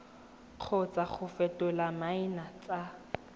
kgotsa go fetola maina tsa